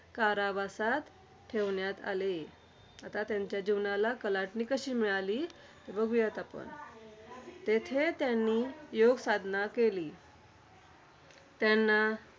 कारावासात ठेवण्यात आले. आता त्यांच्या जीवनाला कलाटणी कशी मिळाली? बघुयात आपण. तेथे त्यांनी योगसाधना केली. त्यांना